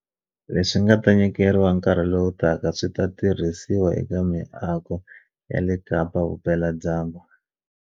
Leswi nga ta nyikeriwa nkarhi lowutaka swi ta tirhisiwa eka miako ya le Kapa-vupeladyambu.